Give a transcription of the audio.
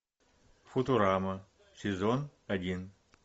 футурама сезон один